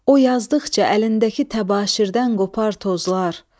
O yazdıqca əlindəki təbaşirdən qopar tozlar.